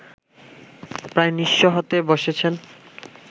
প্রায় নিঃস্ব হতে বসেছেন